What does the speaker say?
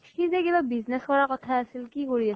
সি যে কিবা business কৰা কথা আছিল, কি কৰি আছে